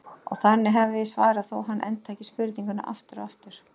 Og þannig hefði ég svarað, þótt hann endurtæki spurninguna aftur og aftur.